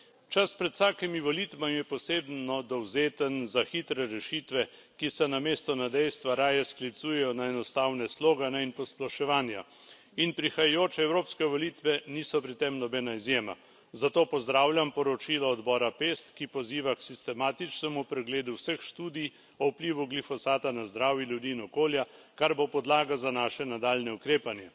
Čas pred vsakimi volitvami je posebno dovzeten za hitre rešitve, ki se namesto na dejstva raje sklicujejo na enostavne slogane in posploševanja, in prihajajoče evropske volitve niso pri tem nobena izjema. Zato pozdravljam poročilo odbora PEST, ki poziva k sistematičnemu pregledu vseh študij o vplivu glifosata na zdravje ljudi in okolja, kar bo podlaga za naše nadaljnje ukrepanje.